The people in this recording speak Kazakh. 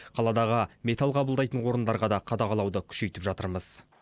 қаладағы металл қабылдайтын орындарға да қадағалауды күшейтіп жатырмыз